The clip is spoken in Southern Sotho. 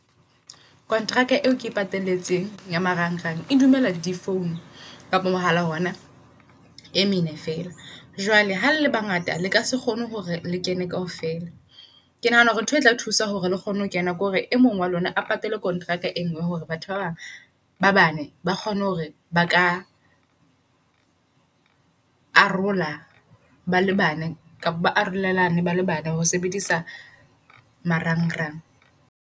Konteraka eo ke e pateletseng ya marang rang e dumela di phone kapa mohala ona e mene fela. Jwale halele bangata lekase kgone hore le kene kaofela. Ke nahana hore ntho e tla thusa hore le kgone ho kena ke hore e mong wa lona a patale contract e ngwe. Hore batho ba bang ba bane ba kgone hore baka arola ba le bane, kapa ba arolelana bale bane ho sebedisa marangrang.